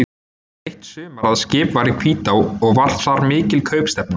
Það var eitt sumar að skip var í Hvítá og var þar mikil kaupstefna.